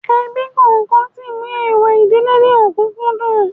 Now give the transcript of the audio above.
Ebí kọ̀ọ̀kan sí mú èèwọ̀ ìdílé ní òkùǹkùn dùn